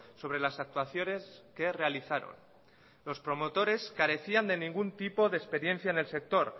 sobre las actuaciones que realizaron los promotores carecían de ningún tipo de experiencia en el sector